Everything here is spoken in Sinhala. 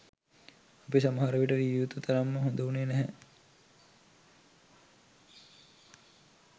අපි සමහර විට විය යුතු තරම්ම හොඳ වුණේ නැහැ.